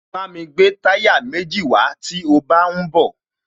Bámi gbé táyà méjì wàá tí o bá ń bọ̀